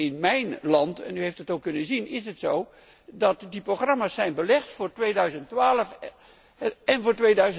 in mijn land u heeft dat ook kunnen zien is het zo dat die programma's zijn vastgelegd voor 2012 en voor